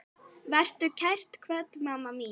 Vertu kært kvödd, mamma mín.